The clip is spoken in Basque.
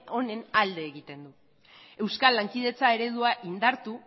honen alde egiten du euskal lankidetza eredua indartu